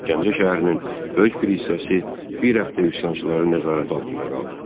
Gəncə şəhərinin böyük bir hissəsi bir həftə üsyançıların nəzarəti altında qaldı.